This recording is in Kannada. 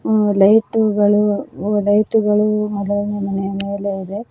ಆ ಲೈಟುಗಳು ಲೈಟುಗಳು ಅದಾವ ಮನೆಯ ಮೇಲೆ--